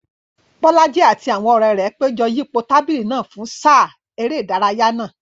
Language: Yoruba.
Bolaji àti àwọn ọ̀rẹ́ rẹ̀ péjọ yípo tábìlì náà fún sáà eré ìdárayá náà.